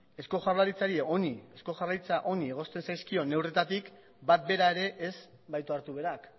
eusko jaurlaritzari honi egozten zaizkion neurrietatik bat bera ere ez baitu hartu berak